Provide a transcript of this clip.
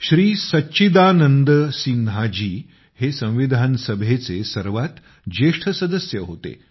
श्री सच्चिदानंद सिन्हाजी हे संविधान सभेचे सर्वात ज्येष्ठ सदस्य होते